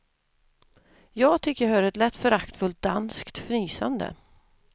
Jag tycker jag hör ett lätt föraktfullt danskt fnysande.